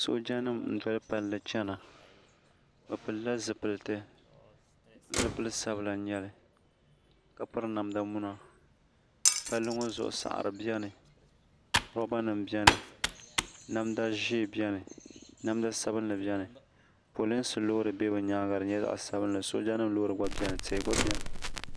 soojanima n-doli palli chana bɛ pilla zipiliti zipil' sabila n-nyɛ li ka piri namda muna palli ŋɔ zuɣu saɣiri beni rɔbanima beni namda ʒee beni namda sabinli beni polinsi loori be bɛ nyaaŋa di nyɛla zaɣ' sabinli soojanima loori ɡba beni tihi ɡba beni